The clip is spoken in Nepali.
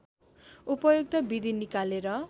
उपयुक्त विधि निकालेर